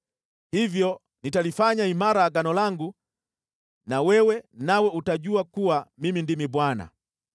Hivyo nitalifanya imara Agano langu na wewe, nawe utajua kuwa Mimi ndimi Bwana .